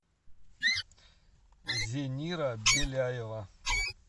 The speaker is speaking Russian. зенира беляева